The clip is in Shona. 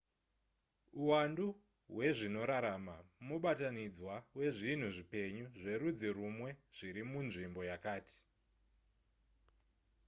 uwandu hwezvinorarama mubatanidzwa wezvinhu zvipenyu zverudzi rumwe zviri munzvimbo yakati